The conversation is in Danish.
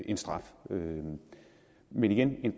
en straf men men igen en